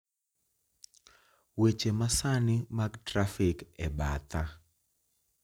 Weche masani mag trafik e batha